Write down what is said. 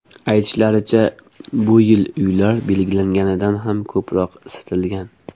Aytishlaricha, bu yil uylar belgilanganidan ham ko‘proq isitilgan.